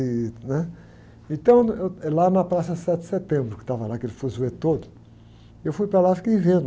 E né? Então, eu, é lá na Praça Sete de Setembro, que estava lá aquele fuzuê todo, eu fui para lá e fiquei vendo.